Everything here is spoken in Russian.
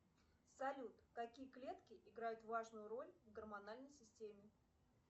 салют какие клетки играют важную роль в гормональной системе